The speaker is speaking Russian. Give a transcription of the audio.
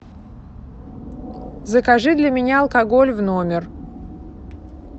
закажи для меня алкоголь в номер